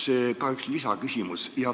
Mul on ka üks lisaküsimus.